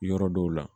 Yɔrɔ dɔw la